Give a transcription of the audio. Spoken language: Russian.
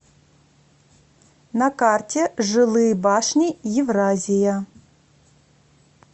на карте жилые башни евразия